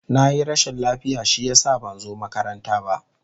Na yi rashin lafiya shi ya sa ban zo makaranta ba.